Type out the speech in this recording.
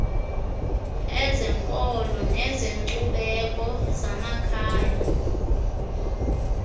ezenkolo nezenkcubeko zamakhaya